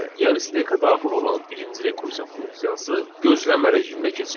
Yəni steğə daxil olan birinci rekursiya funksiyası gözləmə rejiminə keçir.